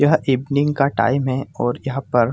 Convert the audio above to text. यह इवनिंग का टाइम है और यहां पर--